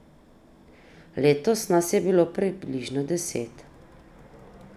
Letos nas je bilo približno deset.